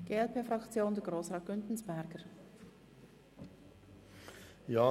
Deshalb sind wir gegen die Rückweisung.